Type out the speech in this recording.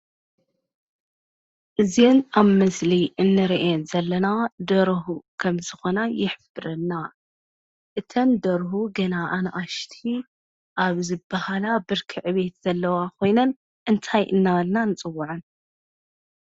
እዚኤን ኣብ ምስሊ ንሪኤን ዘለና ደርሁ ከም ዝኾና ይሕብረልና፡፡ እተን ደርሁ ግና ኣናእሽቲ ኣብ ዝበሃል ብርኪ ዕብየት ዘለዋ ኾይነን እንታይ እናበልና ንፅወዐን?